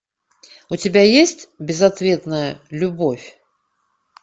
у тебя есть безответная любовь